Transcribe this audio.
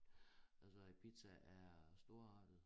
Altså Ibiza er storartet